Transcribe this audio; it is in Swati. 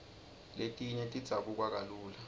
letinye tidzabuka kalula